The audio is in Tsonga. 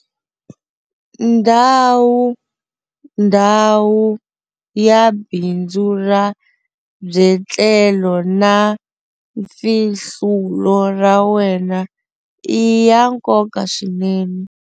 Ndhawu - Ndhawu ya bindzu ra byetlelo na mfihlulo ra wena i ya nkoka swinene.